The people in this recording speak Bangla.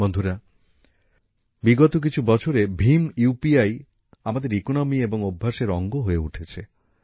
বন্ধুরা বিগত কিছু বছরে ভিম ইউপিআই আমাদের অর্থনীতি এবং অভ্যাসের অঙ্গ হয়ে উঠেছে